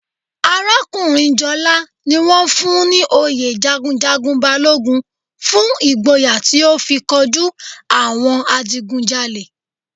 Arakunrin Jola ni won fun un ni oyè jagunjagun Balogun fun igboya ti o fi koju awon adigunjale.